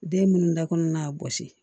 Den minnu dakɔnɔna gosi